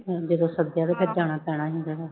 ਜਦੋਂ ਸੱਦਿਆ ਤੇ ਫਿਰ ਜਾਣਾ ਪੈਣਾ ਸੀ ਤੈਨੂੰ।